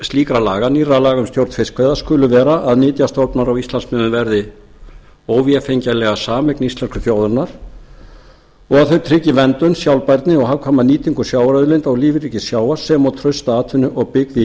slíkra laga nýrra laga um stjórn fiskveiða skulu vera að nytjastofnar á íslandsmiðum verði óvefengjanlega sameign íslensku þjóðarinnar og að þau tryggi verndun sjálfbærni og hagkvæma nýtingu sjávarauðlinda og lífríkis sjávar sem og trausta atvinnu og byggð í